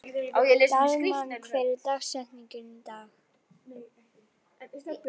Dalmann, hver er dagsetningin í dag?